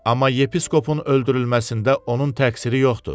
Amma yepiskopun öldürülməsində onun təqsiri yoxdur.